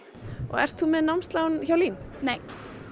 ert þú með námslán hjá LÍN nei